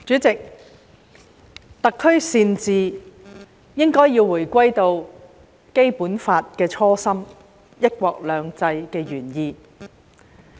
主席，特區善治應該要回歸《基本法》的初心、"一國兩制"的原意。